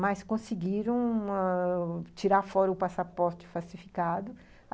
mas conseguiram ah tirar fora o passaporte falsificado.